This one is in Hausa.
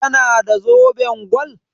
Ta na da zoben gwal?